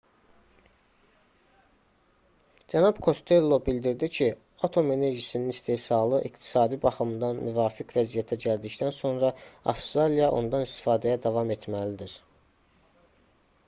cənab kostello bildirdi ki atom enerjisinin istehsalı iqtisadi baxımdan müvafiq vəziyyətə gəldikdən sonra avstraliya ondan istifadəyə davam etməlidir